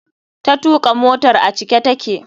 Ta tuka motar a cike take.